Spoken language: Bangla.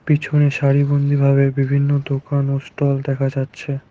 পিছনে সারিবন্দীভাবে বিভিন্ন দোকান ও স্টল দেখা যাচ্ছে।